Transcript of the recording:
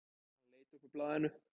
Hann leit upp úr blaðinu.